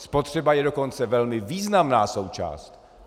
Spotřeba je dokonce velmi významná součást.